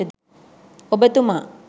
ඔබ තුමා